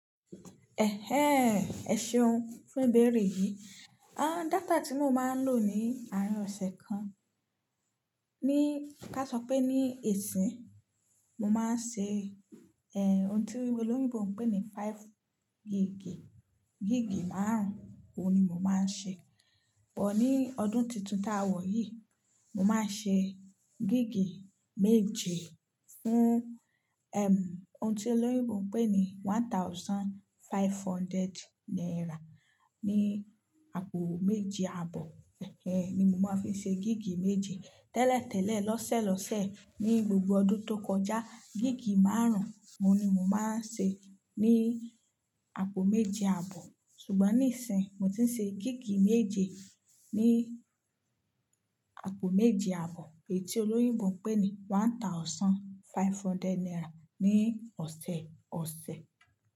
Ẹ̀hẹ́n, ẹ̀ ṣeun fun ibẹrẹ yìí. Àn, data tí mo máa ń lò ní àárín ọ̀sẹ̀ kan, ní, ká sọ pé ní isìín, mo máa ń ṣe, ẹ, ohun tí olóyìnbó ń pè ní five gígí, gígí márun, òun ni mo máa ń ṣe. Ṣùgbọ́n ní ọdún tuntun ta wa yìí, mo máa ń ṣe gíg méje fún, ẹm, ohun tí olóyìnbó ń pè ní one thousand five hundred naira ní àpò méje àbọ̀. Ẹ̀hẹ́n, ni mo máa ń fi ṣe gígí méje. Tẹ́lẹ̀tẹ́lẹ̀, lọ́sẹ̀lọ́sẹ̀, ní gbogbo ọdún tó kọjá, gígí márùn òun ni mo máa ń ṣe ní àpò méje àbọ̀. Ṣùgbọ́n níìsín, mo ti ń ṣe gígí méje ní àpò méje àbọ̀ èyí tí olóyìnbó ń pè ní one thousand five hundred naira ní ọ̀sẹ̀ọ̀sẹ̀.